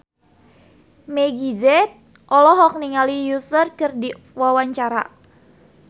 Meggie Z olohok ningali Usher keur diwawancara